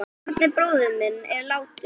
Árni bróðir minn er látinn.